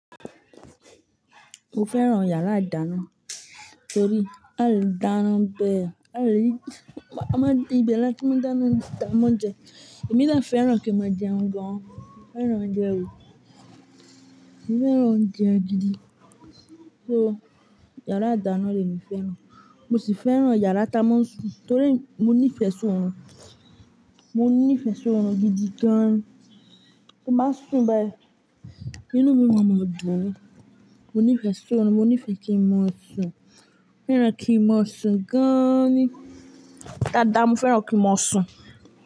Mo fẹ́ràn yàrá ìdáná torí a le dáná bẹ́ẹ̀, a le Ìbè la tí mo dáná ounjẹ ti a maa n je, èmi de fẹ́ràn kí n máa jẹun gan. Mo fẹ́ràn oúnjẹ o, mo fẹ́ràn oúnjẹ gidi. So yàrá ìdáná lèmi fẹ́ràn. Mo sì fẹ́ràn yàrá tá a máa ń sùn torí mo nífẹ̀ẹ́ sún ọ̀run. Mo nífẹ̀ẹ́ sún ọ̀run gidi gan-an. Mo máa ń sùn bẹ́ẹ̀, inú mi máa ma dùn ni. Mo nífẹ̀ẹ́ sún ọ̀run, mo nífẹ̀ẹ́ kí n máa sùn. Mo fẹ́ràn kí n máa sùn gan-an ni. Dada mo fẹ́ràn kí n máa sùn.